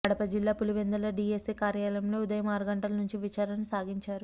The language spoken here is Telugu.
కడప జిల్లా పులివెందుల డిఎస్పీ కార్యాలయంలో ఉదయం ఆరు గంటల నుంచి విచారణ సాగించారు